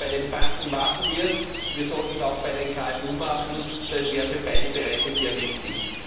Bei den Banken machen wir es, wir sollten es auch bei den KMU machen. Das wäre für beide Bereiche sehr wichtig.